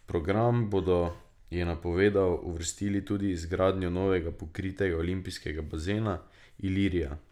V program bodo, je napovedal, uvrstili tudi izgradnjo novega pokritega olimpijskega bazena Ilirija.